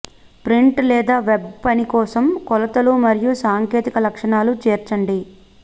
print లేదా web పని కోసం కొలతలు మరియు సాంకేతిక లక్షణాలు చేర్చండి